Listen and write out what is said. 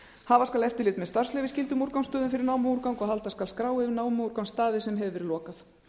hafa skal eftirlit með starfsleyfisskyldum úrgangsstöðum fyrir námuúrgang og halda skal skrá yfir námuúrgangsstaði sem hefur verið lokað